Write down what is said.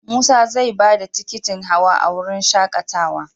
Musa zai ba da tikitin hawa a wurin shaAƙatawa.